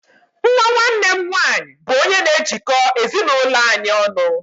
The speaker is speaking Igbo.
Nwa nwanne m nwanyị bu onye n'ejiko ezi n'ụlọ anyị ọnụ